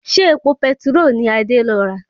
Ṣé epo petiró ni Adé lọ rà?